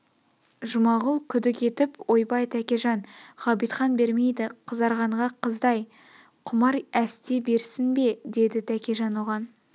жұмағұл күдік етіп ойбай тәкежан ғабитхан бермейді қызарғанға қыздай құмар әсте берсін бе деді тәкежан оған